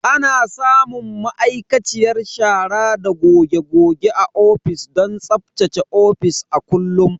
Ana samun ma'aikaciyar shara da goge goge a ofis don tsaftace ofis a kullum.